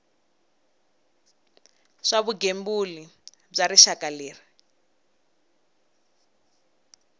swa vugembuli bya rixaka leyi